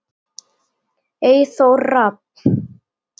Eyþór Rafn.